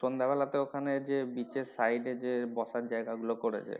সন্ধ্যা বেলাতে ওখানে যে beach এর side এ যে বসার জায়গা গুলো করেছে